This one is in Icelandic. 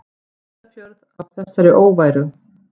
Ísafjörð af þessari óværu!